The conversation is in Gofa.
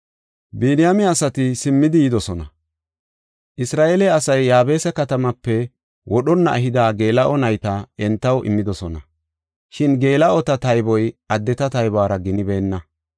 Biniyaame asati simmidi yidosona. Isra7eele asay Yaabesa katamaape wodhonna ehida geela7o nayta entaw immidosona. Shin geela7ota tayboy addeta taybuwara ginibeenna.